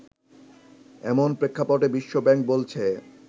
এমন প্রেক্ষাপটে বিশ্বব্যাংক বলছে